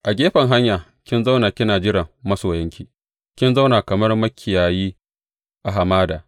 A gefen hanya kin zauna kina jiran masoyanki, kin zauna kamar makiyayi a hamada.